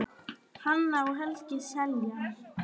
Hanna og Helgi Seljan.